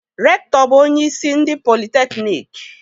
Rektọbụ onyeisi ndị politekniiki.